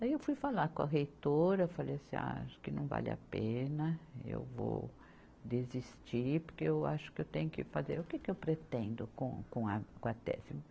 Daí eu fui falar com a reitora, falei assim, ah, acho que não vale a pena, eu vou desistir, porque eu acho que eu tenho que fazer, o que que eu pretendo com, com a, com a tese?